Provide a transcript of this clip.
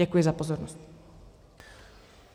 Děkuji za pozornost.